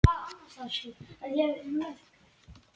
Langar mest til að gráta sig í hel.